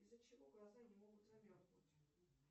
из за чего глаза не могут замерзнуть